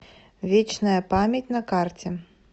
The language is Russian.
вечная память на карте